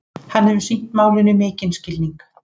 Hann hefur sýnt málinu mikinn skilning